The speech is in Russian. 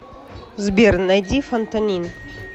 сбер найди фантанин